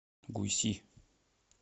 гуйси